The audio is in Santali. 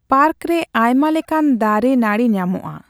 ᱯᱟᱨᱠ ᱨᱮ ᱟᱭᱢᱟ ᱞᱮᱠᱟᱱ ᱫᱟᱨᱤ ᱱᱟᱹᱬᱤ ᱧᱟᱢᱚᱜᱼᱟ ᱾